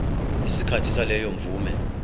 isikhathi saleyo mvume